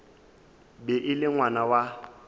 be e le ngwana wa